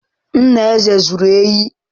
Nna Eze zuru ehi.